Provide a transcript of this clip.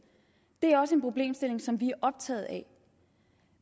det er også en problemstilling som vi er optaget af